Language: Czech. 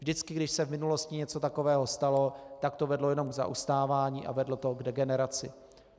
Vždycky když se v minulosti něco takového stalo, tak to vedlo jenom k zaostávání a vedlo to k degeneraci.